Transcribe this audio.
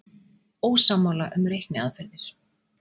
Ósammála um reikniaðferðir